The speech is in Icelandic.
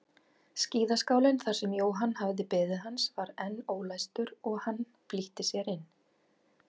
Skíðaskálinn þar sem Jóhann hafði beðið hans var enn ólæstur og hann flýtti sér inn.